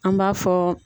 An b'a fɔ